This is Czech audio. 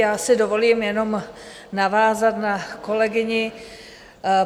Já si dovolím jenom navázat na kolegyni.